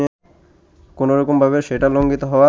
কোনরকমভাবে সেটা লঙ্ঘিত হওয়া